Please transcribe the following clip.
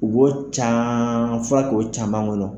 U b'o ca fɔra k'o caman kɔnɔ